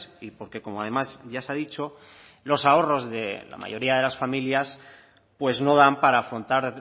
y porque como además ya se ha dicho los ahorros de la mayoría de las familias pues no dan para afrontar